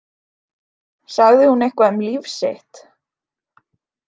Sagði hún eitthvað um líf sitt?